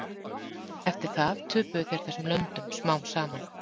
Eftir það töpuðu þeir þessum löndum smám saman.